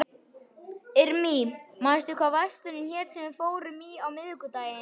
Irmý, manstu hvað verslunin hét sem við fórum í á miðvikudaginn?